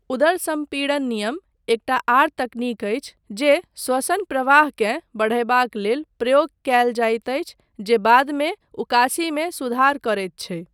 उदर सम्पीड़न नियम एकटा आर तकनीक अछि जे श्वसन प्रवाहकेँ बढ़यबाक लेल प्रयोग कयल जाइत अछि जे बादमे उकासीमे सुधार करैत छै।